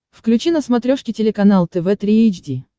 включи на смотрешке телеканал тв три эйч ди